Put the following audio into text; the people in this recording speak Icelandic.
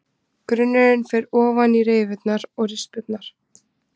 Grunnurinn fer ofan í rifurnar og rispurnar.